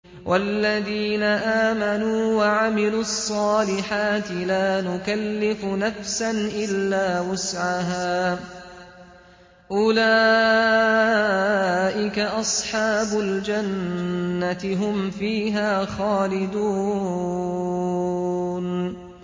وَالَّذِينَ آمَنُوا وَعَمِلُوا الصَّالِحَاتِ لَا نُكَلِّفُ نَفْسًا إِلَّا وُسْعَهَا أُولَٰئِكَ أَصْحَابُ الْجَنَّةِ ۖ هُمْ فِيهَا خَالِدُونَ